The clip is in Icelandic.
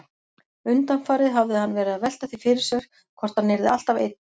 Undanfarið hafði hann verið að velta því fyrir sér hvort hann yrði alltaf einn.